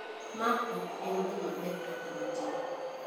Ma ok en gima ber kata matin.